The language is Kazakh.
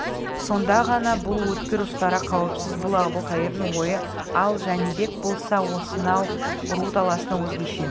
сонда ғана бұл өткір ұстара қауіпсіз бұл әбілқайырдың ойы ал жәнібек болса осынау ру таласына өзгеше